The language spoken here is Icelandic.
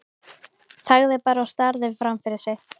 Þagði bara og starði fram fyrir sig.